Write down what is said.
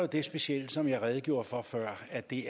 det specielle som jeg redegjorde for før at det